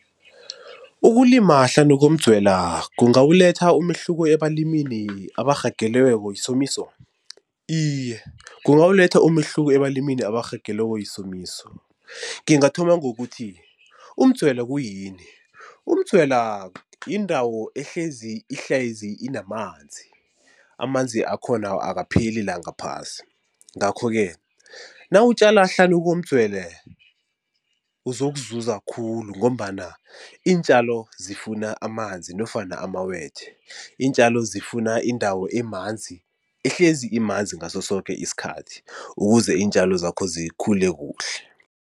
Ukulima hlanu komdzwela kungawuletha umehluko ebalimini abarhagalelweko yisomiso? Iye kungawuletha umehluko ebalimini abarhagelweko yisomiso. Ngingathoma ngokuthi umdzwela kuyini? Umdzwela yindawo ehlezi ihlezi inamanzi, amanzi akhona akapheli la ngaphasi. Ngakho-ke nawutjala hlanu komdzwele uzokuzuza khulu ngombana iintjalo zifuna amanzi nofana amawethe, iintjalo zifuna indawo emanzi ehlezi imanzi ngaso soke isikhathi ukuze iintjalo zakho zikhule kuhle.